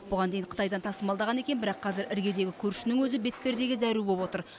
бұған дейін қытайдан тасымалдаған екен бірақ қазір іргедегі көршінің өзі бетпердеге зәру болып отыр